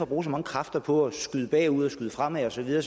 bruge så mange kræfter på at skyde bagud og skyde fremad og så videre